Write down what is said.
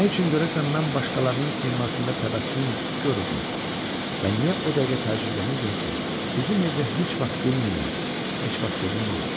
Nə üçün görəsən mən başqalarının simasında təbəssüm görürdüm və niyə o dəqiqə təəccüblənirdim ki, bizim evdə heç vaxt gülmürlər, heç vaxt sevinmirlər?